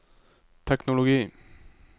teknologi